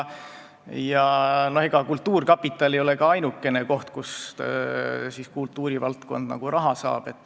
Ega kultuurkapital ei ole ainukene koht, kust kultuurivaldkond raha saab.